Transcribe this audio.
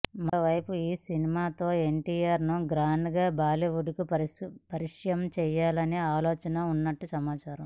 మరోవైపు ఈసినిమాతో ఎన్టీఆర్ను గ్రాండ్గా బాలీవుడ్కు పరిచయం చేయాలనే ఆలోచనలో ఉన్నట్టు సమాచారం